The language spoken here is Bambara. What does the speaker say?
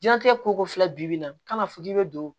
Diɲɛnlatigɛ koko filɛ bi bi in na ka na fo k'i bɛ don